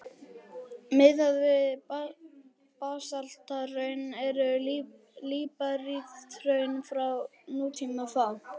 Miðað við basalthraun eru líparíthraun frá nútíma fá.